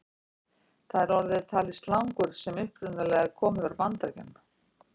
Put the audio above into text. Þar er orðið talið slangur sem upprunalega komi frá Bandaríkjunum.